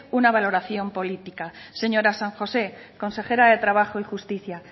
una valoración política señora san josé consejera de trabajo y justicia